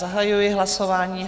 Zahajuji hlasování.